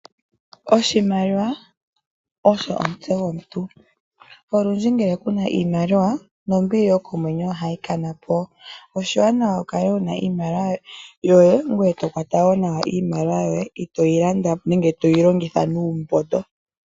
Oshimaliwa osho omutse gwomuntu, olundji ngele ku na iimaliwa nombili yokomwenyo ohayi kana po, oshiwanawa wu kale wu na iimaliwa yoye ngoye to kwata wo nawa iimaliwa yoye itoyi landa nenge toyi longitha nuumbondo.